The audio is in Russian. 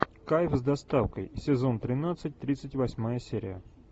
кайф с доставкой сезон тринадцать тридцать восьмая серия